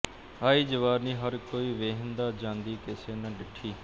ਆਈ ਜਵਾਨੀ ਹਰ ਕੋਈ ਵੇਂਹਦਾ ਜਾਂਦੀ ਕਿਸੇ ਨਾ ਡਿੱਠੀ